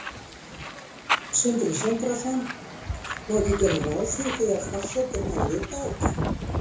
Sindri Sindrason: Má ekki gera ráð fyrir því að forsetinn hafi vitað þetta?